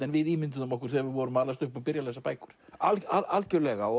en við ímynduðum okkur þegar við vorum að alast upp og byrja að lesa bækur algjörlega og